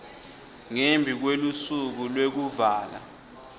ngembi kwelusuku lwekuvala